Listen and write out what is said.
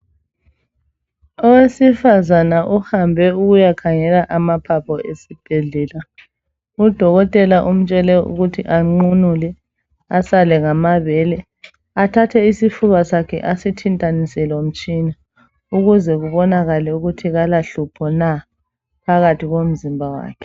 Owesifazane uhambe ukuyakhangela amaphapho esibhedlela .Udokotela umtshele ukuthi anqunule asale ngamabele athathe isifuba sakhe asithintanise lomtshina ukuze kubonakale ukuthi kalahlupho na phakathi komzimba wakhe.